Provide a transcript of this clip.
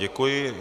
Děkuji.